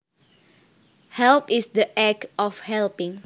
Help is the act of helping